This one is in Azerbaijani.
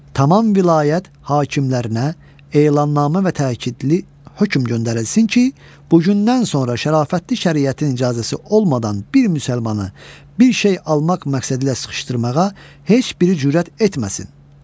Tamam vilayət hakimlərinə elanmə və təkidli hökm göndərilsin ki, bu gündən sonra şərafətli şəriətin icazəsi olmadan bir müsəlmanı bir şey almaq məqsədilə sıxışdırmağa heç biri cürət etməsin.